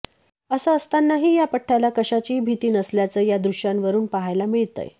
असं असतानाही या पठ्ठ्याला कशाचीही भीती नसल्याचे या दृष्यांवरुन पाहायला मिळतंय